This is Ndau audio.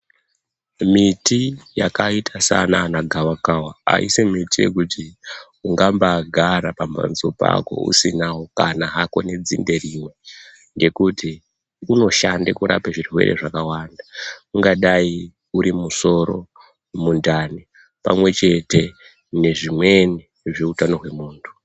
Miti yakaita saanana gavakava haisi miti yekuti ungambaagara pamhatso pako usinawo kana hako nedzinde rimwe ngekuti unoshande kurape zvirwere zvakawanda. Ungadai uri musoro, mundani pamwechete nezvimweni zveutano hwemuntu.